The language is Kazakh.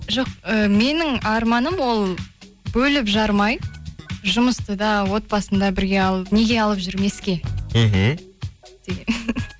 жоқ і менің арманым ол бөліп жармай жұмысты да отбасыны да бірге алып неге алып жүрмеске мхм